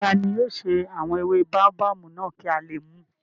Tani yóò ṣe àwọn ewé báóbábù náà kí a lè mùú?